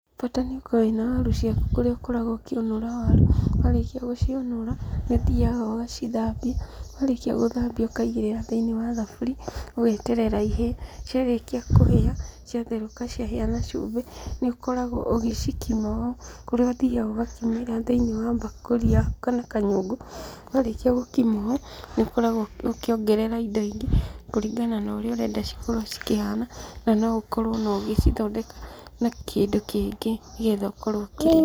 Bata nĩũkorwo wĩ na waru ciaku kũrĩa ũkoragwo ũkĩũnũra waru, warĩkia gũciũnũra, nĩũthiaga ugacithambia. Warĩkia gũthambia ukaigĩrĩra thĩini wa thaburia, ũgeterera ihĩe. Ciarĩkia kũhĩa, ciatherũka ciahĩa na cumbĩ, nĩũkoragwo ũgĩcikima ũũ, kũrĩa ũthiaga ũgakima thĩ-inĩ wa mbakũri yaku kana kanyũngũ. Warĩkia gũkima ũũ, nĩũkũragwo ũkĩongerera indo ingĩ, kũringana na ũrĩa ũrenda cikorwo cikĩhana, na no ũkorwo no ũgĩcithondeka na kĩndũ kĩngĩ nĩ getha ũkorwo ũkĩrĩa.